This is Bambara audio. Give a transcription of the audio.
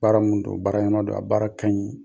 Baara mun don, baara yɛnama don, a baara kaɲi.